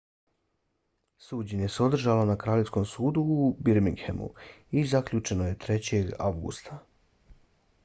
suđenje se održalo na kraljevskom sudu u birminghamu i zaključeno je 3. avgusta